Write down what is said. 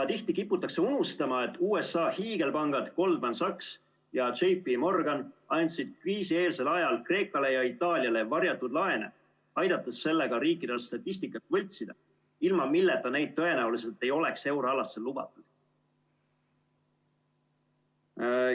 Tihti kiputakse unustama, et USA hiigelpangad Goldman Sachs ja JPMorgan andsid kriisieelsel ajal Kreekale ja Itaaliale varjatud laene, aidates sellega riikidel statistikat võltsida, ilma milleta neid tõenäoliselt ei oleks euroalasse lubatud.